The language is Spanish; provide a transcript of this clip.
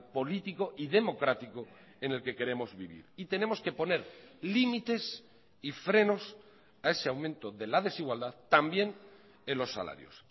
político y democrático en el que queremos vivir y tenemos que poner límites y frenos a ese aumento de la desigualdad también en los salarios